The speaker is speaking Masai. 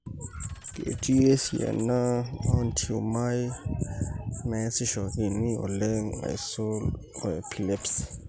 Ketii esiana oontiumai naisishokini oleng aisul oepilepsy.